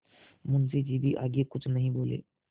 मुंशी जी भी आगे कुछ नहीं बोले